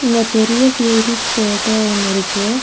இங்க பெரிய tea leaf தோட்டோ ஒன்னு இருக்கு.